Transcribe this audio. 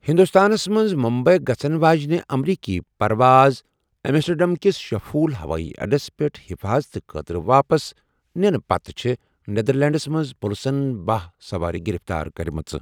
ہِنٛدُستانس منٛزمٗمبیی گَژھن واجینہِ امریٖکی پرواز ایٚمسٹرٛڈیٚم کِس شِفھول ہَوایی اَڈس پیٚٹھ حِفاظتہٕ خٲطرٕ واپس نِنہٕ پتہٕ چھےٚ نیدرلینڈس منٛز پُلسن باہ سَوارِ گِرِفتار کرِمَژٕ ۔